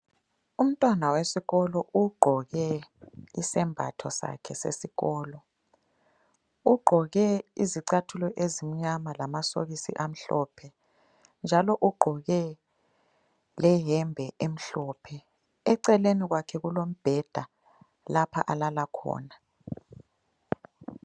Umntwana wesikolo ugqoke isembatho sakhe sesikolo. Ugqoke izicathulo ezimnyama lamasokisi amhlophe njalo ugqoke leyembe emhlophe. Eceleni kwakhe kulombheda lapha alala khona.